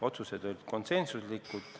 Otsused olid konsensuslikud.